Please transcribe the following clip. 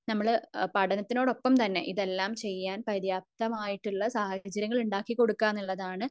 നമ്മൾ പഠനത്തോടൊപ്പം തന്നെ നമ്മൾ ഇതൊക്കെ ചെയ്യാൻ പര്യാപ്തമായിട്ടുള്ള സാഹചര്യങ്ങൾ ഉണ്ടാക്കികൊടുക്ക എന്നുള്ളതാണ്